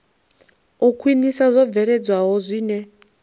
u khwinisa zwo bveledzwaho zwine